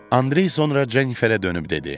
Andrey sonra Jenniferə dönüb dedi: